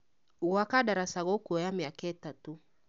Gwaka ndataca gũkuoya mĩaka ĩtatũ